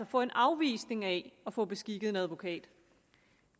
få en afvisning af anmodningen at få beskikket en advokat